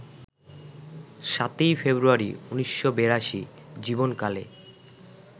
৭ই ফেব্রুয়ারি, ১৯৮২ জীবনকালে